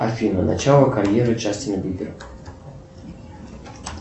афина начало карьеры джастина бибера